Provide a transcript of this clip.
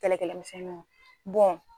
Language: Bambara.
Kɛlɛ kɛlɛ misɛnniw